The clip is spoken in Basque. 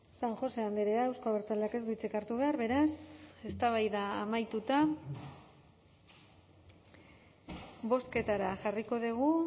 san josé andrea euzko abertzaleak ez du hitzik hartu behar beraz eztabaida amaituta bozketara jarriko dugu